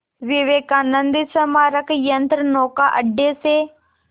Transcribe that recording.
विवेकानंद स्मारक यंत्रनौका अड्डे से